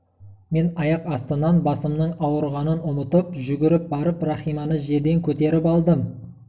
мен аяқ астынан басымның ауырғанын ұмытып жүгіріп барып рахиманы жерден көтеріп алдым